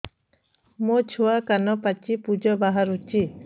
ମୋ ଛୁଆ କାନ ପାଚି ପୂଜ ବାହାରୁଚି